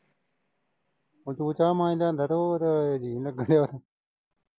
ਹੁਣ ਤੂੰ ਚਾਹ ਪਾਣੀ ਲਿਆਂਦਾ ਤੇ ਹੋਰ ਜੀਅ ਨਈਂ ਲੱਗਿਆ